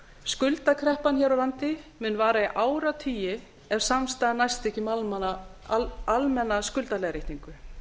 skuldakreppan hér á landi mun vara í áratugi ef samstaða næst ekki um almenna skuldaleiðréttingu